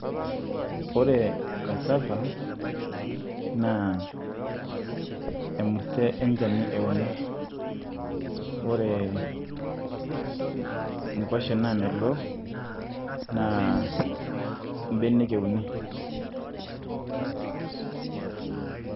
Ore casava naa emurte echani euni ,ore nkwashen naamelook naa mbenek euni.